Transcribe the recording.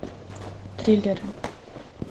триллеры